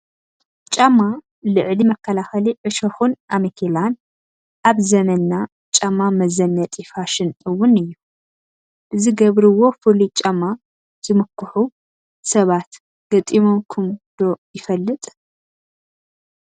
ጫማ ልዕሊ መከላኸሊ ዕሾኽን ኣመኬላን፡፡ ኣብ ዘመንና ጫማ መዘነጢ ፋሽን እውን እዩ፡፡ ብዝገብርዎ ፍሉይ ጫማ ዝምክሑን ሰባት ገጢሙኩም ዶ ይፈልጥ?